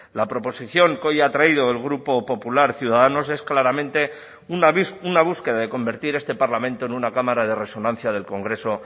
la proposición que hoy ha traído el grupo popular ciudadanos es claramente una búsqueda de convertir este parlamento en una cámara de resonancia del congreso